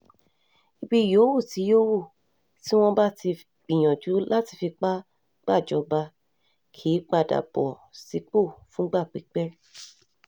ibi yòówù tí yòówù tí wọ́n bá ti gbìyànjú láti fipá gbàjọba kì í padà bọ̀ sípò fúngbà pípẹ́